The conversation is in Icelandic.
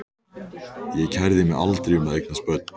Ég kærði mig aldrei um að eignast börn.